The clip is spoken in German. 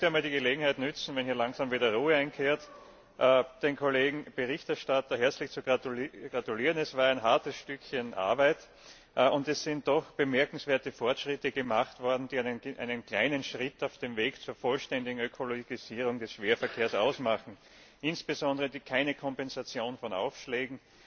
Ich möchte hier die Gelegenheit nutzen, sobald hier wieder Ruhe einkehrt, dem Kollegen Berichterstatter herzlich zu gratulieren. Es war ein hartes Stück Arbeit, und es sind doch bemerkenswerte Fortschritte gemacht worden, die einen kleinen Schritt auf dem Weg zur vollständigen Ökologisierung des Schwerverkehrs bedeuten, insbesondere keine Kompensation für Aufschläge